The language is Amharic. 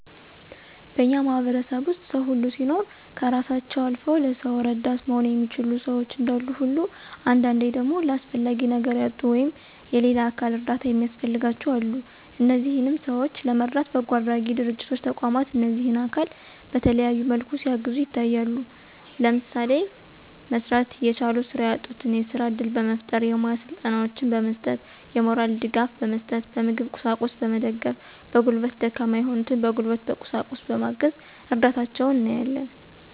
በእኛ ማህበረሰብ ዉስጥ ሰዉ ሁሉ ሲኖር ከእራሳቸዉ አልዉ ለሰዉ እረዳት መሆን የሚችሉ ሸዎች እንዳሉ ሁሉ አንዳንዴ ደግሞ ለአስፈላጊ ነገር ያጡ ወይም <የሌላ አካል እርዳታ የሚያስፈልጋቸዉ>አሉ። እነዚህንም ሰዎች ለመርዳት በጎአድራጊ ድርጅቶች ተቋማት እነዚህን አካል በተለያየ መልኩ ሲያግዙ ይታያሉ። ለምሳሌ፦ መስራት እየቻሉ ስራ ያጡትን የስራ እድል በመፍጠር፣ የሙያ ስልጠናወችን በመስጠት፣ የሞራል ድጋፍ በመስጠት፣ በምግብ ቁሳቁስ በመገደፍ፣ በጉልበት ደካማ የሆኑትን በጉልበት በቁሳቁስ በማገዝ እርዳታቸዉን እናያለን።